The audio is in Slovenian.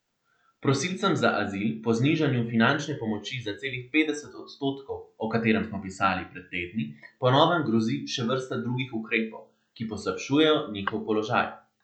Prosilcem za azil po znižanju finančne pomoči za celih petdeset odstotkov, o katerem smo pisali pred tedni, po novem grozi še vrsta drugih ukrepov, ki poslabšujejo njihov položaj.